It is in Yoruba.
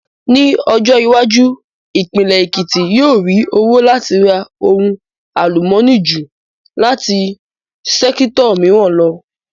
Ní ọjọ́ iwájú, ìpínlẹ̀ Èkìtì yóò rí owó láti ara ohun àlùmọ́nì ju láti sẹ́kítọ̀ mìíràn lọ